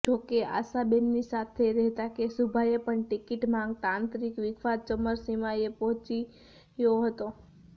જો કે આશાબેનની સાથે રહેતા કેશુભાઈએ પણ ટીકિટ માંગતા આંતરિક વિખવાદ ચરમસીમાએ પહોચ્યો હતો